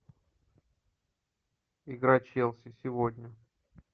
игра челси сегодня